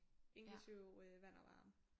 Inklusiv øh vand og varme